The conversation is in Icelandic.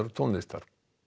tónlistar